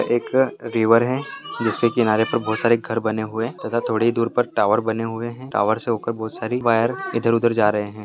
एक रिवर है जिसके किनारे पर बहुत सारे घर बने हुए हैतथा थोड़ी दूर पर टावर बने हुए है टावर से होकर बहुत-सारी वायर इधर-उधर जा रहे है।